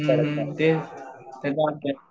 हुं हुं